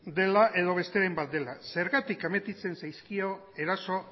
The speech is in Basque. dela edo besteren bat dela zergatik admititzen zaizkio eraso